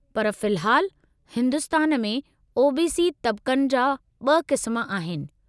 पर फ़िलहालु, हिन्दुस्तान में ओ.बी.सी. तबक़नि जा ॿ क़िस्म आहिनि।